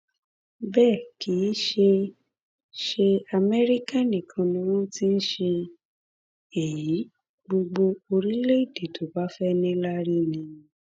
bẹẹ kì í ṣe ṣe amẹríkà nìkan ni wọn ti ń ṣe èyí gbogbo orílẹèdè tó bá fẹẹ níláárí ni